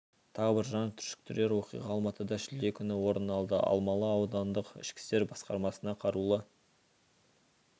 тағы бір жан түршіктерер оқиға алматыда шілде күні орын алды алмалы аудандық ішкі істер басқармасына қарулы